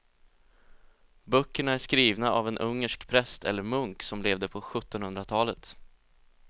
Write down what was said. Böckerna är skrivna av en ungersk präst eller munk som levde på sjuttonhundratalet.